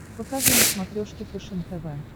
покажи на смотрешке фэшен тв